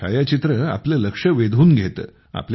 हे छायाचित्र आपले लक्ष वेधून घेते